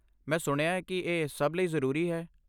ਮੈਂ ਸੁਣਿਆ ਹੈ ਕਿ ਇਹ ਸਭ ਲਈ ਜ਼ਰੂਰੀ ਹੈ।